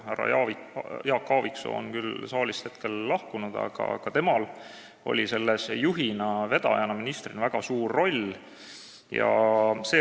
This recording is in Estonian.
Härra Jaak Aaviksoo on küll saalist lahkunud, aga temal oli selles juhina, vedajana, ministrina väga suur roll.